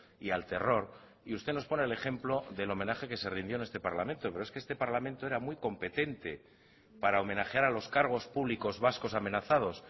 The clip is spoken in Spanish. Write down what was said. y al terror y usted nos pone el ejemplo del homenaje que se rindió en este parlamento pero es que este parlamento era muy competente para homenajear a los cargos públicos vascos amenazados